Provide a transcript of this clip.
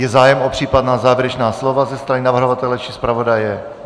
Je zájem o případná závěrečná slova ze strany navrhovatele či zpravodaje?